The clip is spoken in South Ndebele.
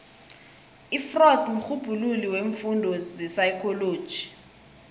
ufreud mrhubhululi weemfundo zepsychology